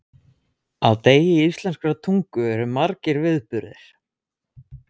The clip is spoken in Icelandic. Ég fer úr peysunni.